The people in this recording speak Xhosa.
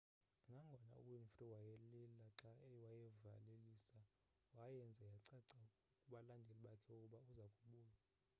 nangona uwinfrey wayelila xa wayevalelisa wayenza yacaca kubalandeli bakhe ukuba uza kubuya